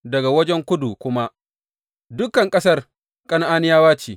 Daga wajen kudu kuma, dukan ƙasar Kan’aniyawa ce.